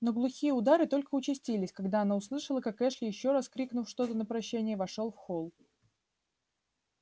но глухие удары только участились когда она услышала как эшли ещё раз крикнув что-то на прощание вошёл в холл